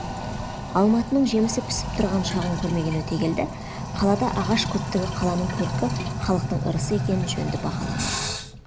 алматының жемісі пісіп тұрған шағын көрмеген өтегелді қалада ағаш көптігі қаланың көркі халықтың ырысы екенін жөнді бағаламайды